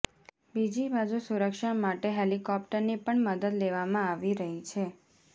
બીજી બાજુ સુરક્ષા માટે હેલિકોપ્ટરની પણ મદદ લેવામાં આવી રહી છે